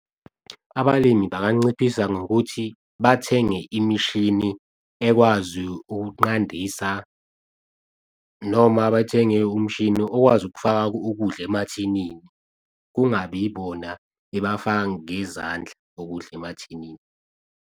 Abalimi banganciphisa ngokuthi, bathenge imishini ekwazi ukuqandisa noma bathenge umshini okwazi ukufaka ukudla emathinini kungabi ibona ebafaka ngezandla ukudla emathinini.